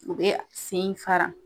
U bɛ sen in fara